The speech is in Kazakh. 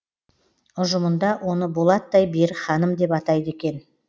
ұжымында оны болаттай берік ханым деп атайды екен